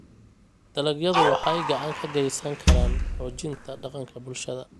Dalagyadu waxay gacan ka geysan karaan xoojinta dhaqanka bulshada.